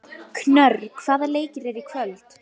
Knörr, hvaða leikir eru í kvöld?